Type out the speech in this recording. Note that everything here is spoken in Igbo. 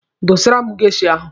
Dọsara m geisha ahụ!